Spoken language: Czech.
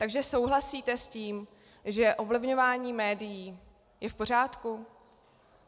Takže souhlasíte s tím, že ovlivňování médií je v pořádku?